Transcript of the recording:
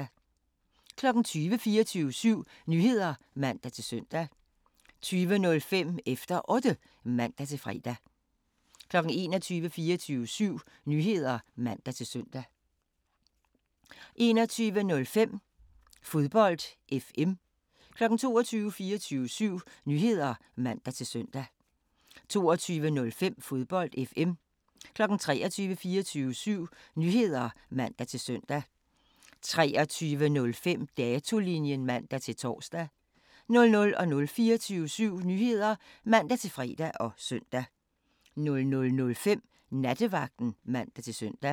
20:00: 24syv Nyheder (man-søn) 20:05: Efter Otte (man-fre) 21:00: 24syv Nyheder (man-søn) 21:05: Fodbold FM 22:00: 24syv Nyheder (man-søn) 22:05: Fodbold FM 23:00: 24syv Nyheder (man-søn) 23:05: Datolinjen (man-tor) 00:00: 24syv Nyheder (man-fre og søn) 00:05: Nattevagten (man-søn)